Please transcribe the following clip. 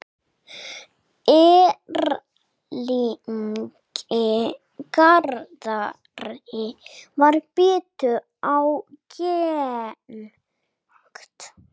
Erlingi Garðari varð betur ágengt.